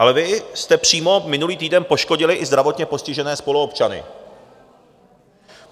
Ale vy jste přímo minulý týden poškodili i zdravotně postižené spoluobčany.